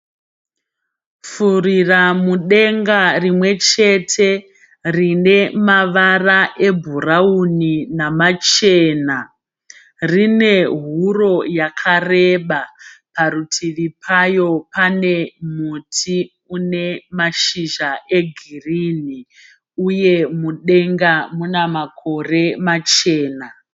Furiramudenga rimwe chete rine mavara ebhurawuni namachena. Rine huro yakareba. Parutivi payo pane muti une mashizha egirinhi uye mudenga mune makore machena.